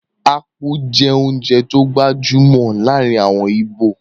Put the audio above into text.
Ápú jẹ́ oúnjẹ tó gbajúmọ̀ láàrin àwọn íbò